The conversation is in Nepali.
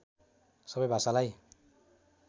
सबै भाषालाई